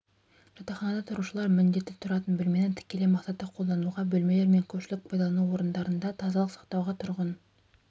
жатақханада тұрушылар міндетті тұратын бөлмені тікелей мақсатта қолдануға бөлмелер мен көпшілік пайдалану орындарында тазалық сақтауға тұрғын